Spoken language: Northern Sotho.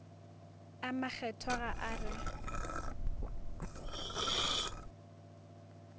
a makgethwa ga a re